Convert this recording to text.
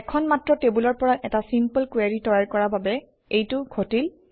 এখন মাত্ৰ টেবুলৰ পৰা এটা চিম্পল কুৱেৰি তৈয়াৰ কৰা বাবে এইটো ঘটিল